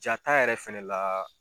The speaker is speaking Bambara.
Jaa ta yɛrɛ fɛnɛ la